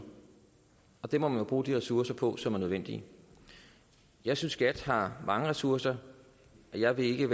det må man bruge de ressourcer på som er nødvendige jeg synes skat har mange ressourcer jeg er ikke